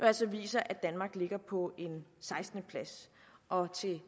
altså viser at danmark ligger på en sekstende plads og til